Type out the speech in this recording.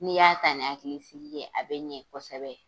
N'i y'a ta ni hakili sigi ye, a bɛ ɲɛ kosɛbɛ.